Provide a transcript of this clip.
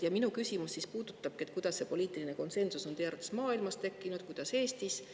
Ja minu küsimus puudutab seda, kuidas see poliitiline konsensus on teie arvates tekkinud maailmas ja Eestis.